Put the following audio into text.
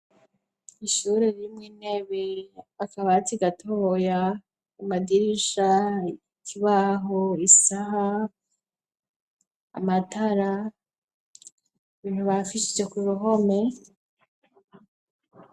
Ishuri rimwe intebe, akabati gatoya ku madirisha kibaho isaha amatara bintu bafishije ku ruhome.